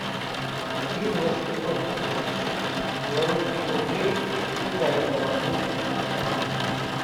один восемьсот тысяч белорусских рублей сколько это в английских фунтах